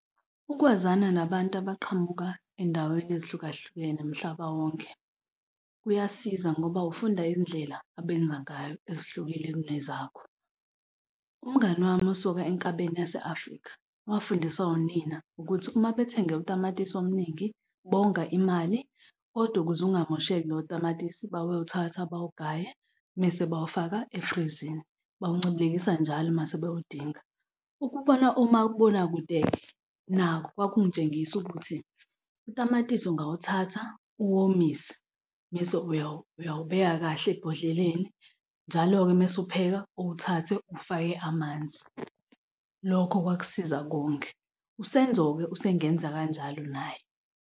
Ukwazana nabantu abaqhamuka e'yndaweni ezihlukahlukene mhlaba wonke kuyasiza ngoba ufunda i'yndlela abenza ngayo ezihlukile kunezakho. Umngani wami usuka enkabeni yase Afrika wabafundiswa wunina ukuthi uma bethenge utamatisi omningi, bonga imali, kodwa ukuze ungamosheki loyo tamatisi babewuthatha bawugaye mese bawufaka efrizini, bawuncibilikisa njalo uma sebewudinga. Ukubona umabonakude-ke nakho kwakungitshengisa ukuthi utamatisi ungawuthatha uwomisa mese uyawubeka kahle ebhodleleni. Njalo-ke mese upheka owathathe uwufake amanzi, lokho kwakusiza konge. USenzo-ke usengenza kanjalo naye.